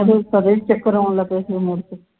ਤੇਨੂੰ ਤਦ ਹੀ ਚੱਕਰ ਆਉਣ ਲੱਗ ਪਏ ਸੀ ਮੁੜ ਕੇ